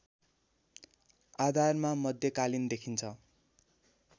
आधारमा मध्यकालीन देखिन्छ